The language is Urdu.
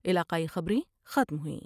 علاقائی خبریں ختم ہوئیں ۔